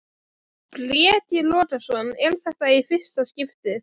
Breki Logason: Er þetta í fyrsta skiptið?